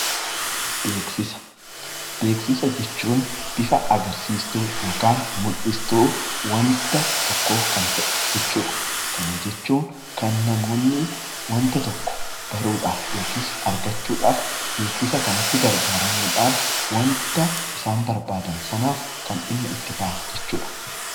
Beeksisa jechuun bifa agarsiistuu yookaan mul'istuu waanta tokkoo kan ta'e jechuudha. Kana jechuun kan namoonni waanta tokko baruudhaaf yookiis argachuudhaaf beeksisa kanatti gargaaramuudhaan waanta isaan barbaadan sanaaf kan dhimma itti ba'an jechuudha.